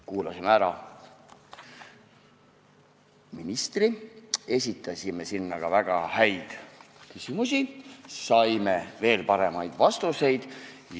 Kuulasime ära ministri, esitasime väga häid küsimusi, saime veel paremaid vastuseid.